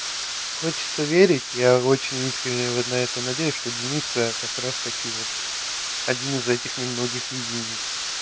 хочется верить я очень искренне на это надеюсь что дениска как раз таки вот один из этих немногих единиц